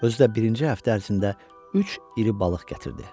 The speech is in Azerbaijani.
Özü də birinci həftə ərzində üç iri balıq gətirdi.